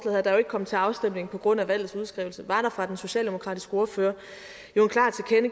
her der jo ikke kom til afstemning på grund af valgets udskrivelse fra den socialdemokratiske ordfører